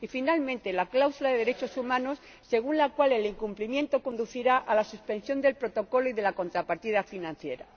y, finalmente, la cláusula de derechos humanos, según la cual el incumplimiento conducirá a la suspensión del Protocolo y de la contrapartida financiera.